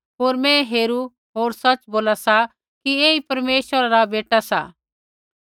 होर मैं हेरू होर सच़ बोला सा कि ऐही परमेश्वरा रा बेटा सा